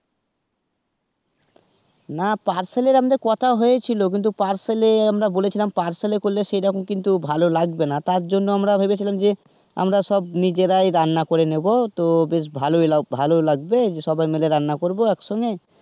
না parcel এর আমাদের কথা হয়েছিল কিন্তু parcel এ আমরা বলেছিলাম parcel এ করলে সেইরকম কিন্তু ভালো লাগবেনা, তার জন্য আমরা ভেবেছিলাম যে আমরা সব নিজেরাই রান্না করে নেবো তো বেশ ভালোই ভালো লাগবে সবাই মিলে রান্না করবো একসঙ্গে.